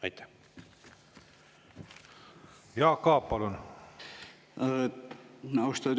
Austatud juhataja!